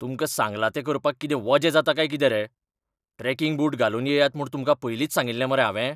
तुमकां सांगलां तें करपाक कितें वजें जाता काय कितें रे? ट्रॅकिंग बूट घालून येयात म्हूण तुमकां पयलींच सांगिल्लें मरे हांवें?